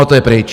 A to je pryč.